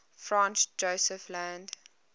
franz josef land